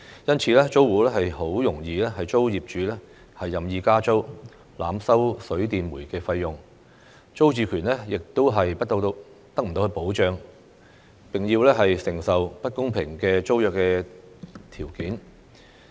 因此，租戶很容易遭業主任意加租、濫收水電煤費用，租住權亦得不到保障，並要承受不公平的租約條件。